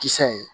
Kisɛ ye